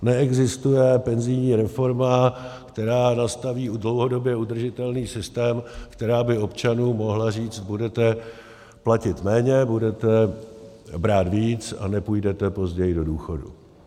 Neexistuje penzijní reforma, která nastaví dlouhodobě udržitelný systém, která by občanům mohla říct: budete platit méně, budete brát víc a nepůjdete později do důchodu.